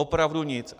Opravdu nic.